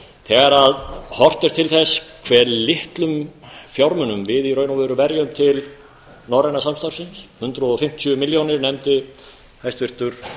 þegar horft er til þess hve litlum fjármunum við verjum til norræna samstarfsins hundrað og fimmtíu milljónir nefndir hæstvirtur